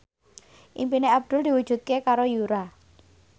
impine Abdul diwujudke karo Yura